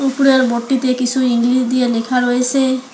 উপরের বোটটিতে -টিতে কিছু ইংলিশ দিয়ে লেখা রয়েসে।